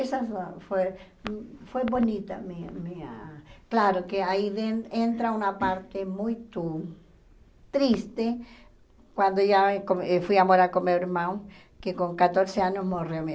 Essa foi foi foi bonita a minha minha... Claro que aí en entra uma parte muito triste, quando ia eh eu fui morar com meu irmão, que com quatorze anos morreu minha